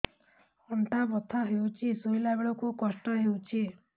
ଅଣ୍ଟା ବଥା ହଉଛି ଶୋଇଲା ବେଳେ କଷ୍ଟ ହଉଛି